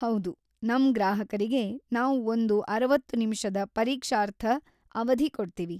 ಹೌದು, ನಮ್‌ ಗ್ರಾಹಕರಿಗೆ ನಾವ್‌ ಒಂದು ಅರವತ್ತು ನಿಮಿಷದ ಪರೀಕ್ಷಾರ್ಥ ಅವಧಿ ಕೊಡ್ತೀವಿ.